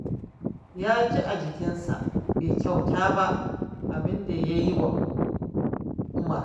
Ya ji a jikinsa bai kyauta ba abin da ya yi wa umar